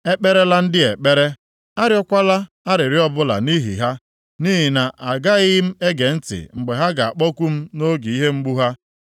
“Ekperela ndị a ekpere, arịọkwala arịrịọ ọbụla nʼihi ha. Nʼihi na agaghị m ege ntị mgbe ha ga-akpọku m nʼoge ihe mgbu ha.